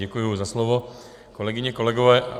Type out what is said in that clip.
Děkuji za slovo. Kolegyně, kolegové.